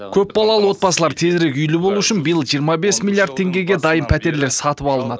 көпбалалы отбасылар тезірек үйлі болу үшін биыл жиырма бес миллиард теңгеге дайын пәтерлер сатып алынады